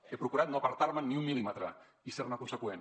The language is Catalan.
he procurat no apartar me’n ni un mil·límetre i ser ne conseqüent